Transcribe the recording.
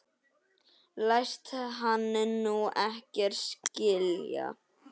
Læst hann nú ekkert skilja?